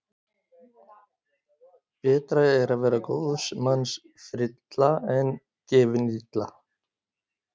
Betra er að vera góðs manns frilla en gefin illa.